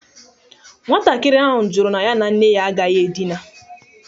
Nwatakịrị ahụ jụrụ na ya na nne ya agaghị edina.